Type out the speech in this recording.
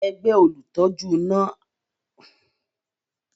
Ẹgbẹ́ olùtọ́jú náà tún àwọn iná tí ń ṣẹ́jú ṣe ní oṣù tó kọjá